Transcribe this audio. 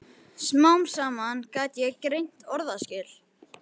Smám saman gat ég greint orðaskil.